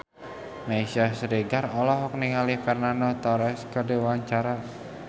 Meisya Siregar olohok ningali Fernando Torres keur diwawancara